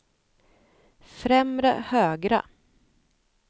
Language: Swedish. främre högra